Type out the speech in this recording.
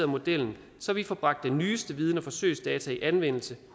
modellen så vi får bragt den nyeste viden og forsøgsdata i anvendelse